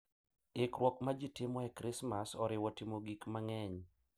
Ikruok ma ji timo e Krismas oriwo timo gik mang’eny.